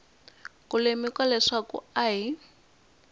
ku lemuka leswaku a hi